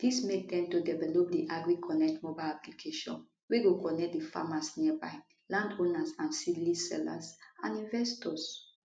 dis make dem to develop di agriconnect mobile application wey go connect di farmers nearby landowners and seedling sellers and investors